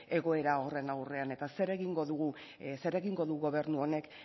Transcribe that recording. egoera horren aurrean eta zer egingo du gobernu honek